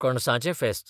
कणसांचें फेस्त